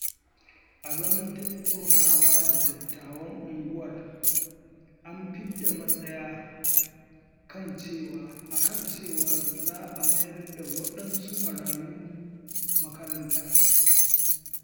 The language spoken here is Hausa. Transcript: A zaman tattaunawa da dattawan unguwar, an fidda matsaya akan cewa za a mayar da waɗansu marayu makaranta.